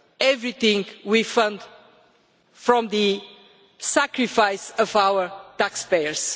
over everything we fund from the sacrifice of our taxpayers.